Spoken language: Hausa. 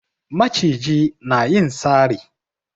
Maciji na yin sari